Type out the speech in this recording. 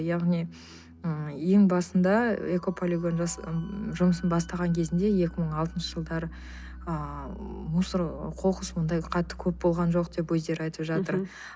яғни м ең басында экополигон жұмысын бастаған кезінде екі мың алтыншы жылдарыы а мусор қоқыс мынандай қатты көп болған жоқ деп өздері айтып жатыр мхм